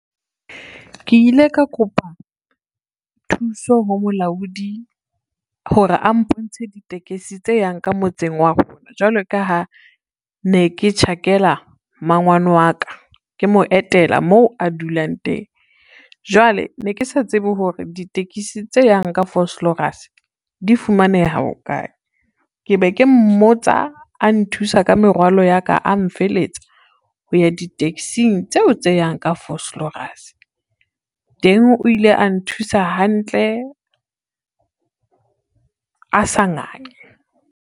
Ke ile ka kopa thuso ho molaodi, hore a mpontshe ditekesi tse yang ka motseng wa rona. Jwalo ka ha ne ke tjhakela mmangwane wa ka, ke mo etela moo a dulang teng. Jwale ne ke sa tsebe hore ditekisi tse yang ka Vosloorus di fumaneha ho kae. Ke be ke mmotsa a nthusa ka merwalo ya ka, a mfelehetsa ho ya di-taxi-ng tseo tse yang ka Vosloorus, teng o ile a nthusa hantle, a sa .